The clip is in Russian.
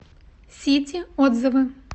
сити отзывы